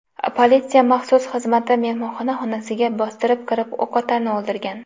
Politsiya maxsus xizmati mehmonxona xonasiga bostirib kirib, o‘qotarni o‘ldirgan.